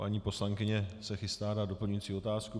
Paní poslankyně se chystá na doplňující otázku.